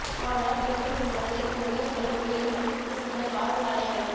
அனால் என்றும் என் மனதில் உன் நினைவுகளும் நீ ஏற்படுத்தி விட்டு சென்ற காதல் தடயங்களும்